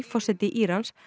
forseti Írans